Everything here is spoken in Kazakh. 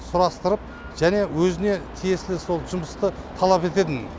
сұрастырып және өзіне тиесілі сол жұмысты талап ететін